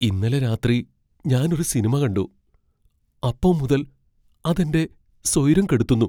ഇന്നലെ രാത്രി ഞാൻ ഒരു സിനിമ കണ്ടു, അപ്പോ മുതൽ അത് എന്റെ സ്വൈരം കെടുത്തുന്നു.